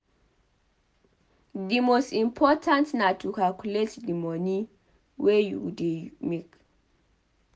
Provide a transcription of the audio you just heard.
Di most important na to calculate di moni wey you dey make